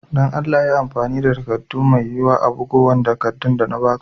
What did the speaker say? Dan Allah yi amfani da murfi mai wiya a'bugowan takadun de na ba ka.